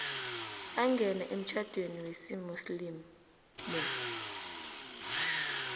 angene emtjhadweni wesimuslimu